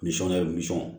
Nisɔnɲɛ nisɔn